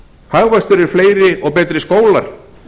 hagvöxtur er fleiri og betri skólar